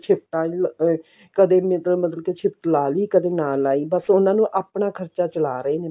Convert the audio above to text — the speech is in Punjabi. ਸ਼ਿਫਟਾਂ ਨੀ ਲਾ ਕਦੇ ਇੱਦਾਂ ਮਤਲਬ ਕਿ ਸ਼ਿਫਟ ਲਾ ਲਈ ਕਦੇ ਨਾ ਲਾਈ ਬਸ ਉਹਨਾਂ ਨੂੰ ਆਪਣਾ ਖਰਚਾ ਚਲਾ ਰਹੇ ਨੇ